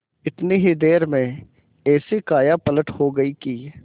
इतनी ही देर में ऐसी कायापलट हो गयी कि